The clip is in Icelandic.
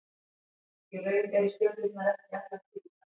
Í raun eru stjörnurnar ekki allar hvítar.